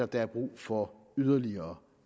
der er brug for yderligere